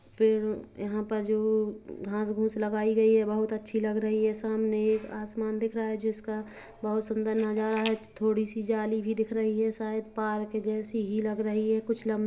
पेड़ यहाँ पर जो घास फूस लगाई गई है बहुत अच्छी लग रही है सामने एक आसमान दिख रहा है जिसका बहुत सुन्दर नजारा है थोड़ी सी जाली भी दिख रही है शायद पार्क जैसी ही लग रही है कुछ लम--